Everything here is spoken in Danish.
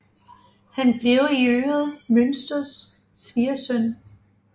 Han blev i øvrigt Mynsters svigersøn